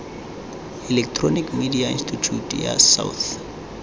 electronic media institute of south